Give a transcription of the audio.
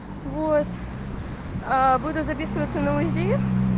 вот а буду записываться на узи